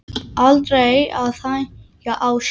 Aldrei að hægja á sér.